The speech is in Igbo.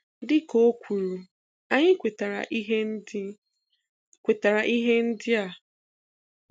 Dị ka ọ kwuru, anyị kwetara ihe ndị kwetara ihe ndị a